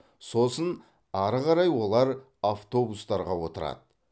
сосын ары қарай олар атвобустарға отырады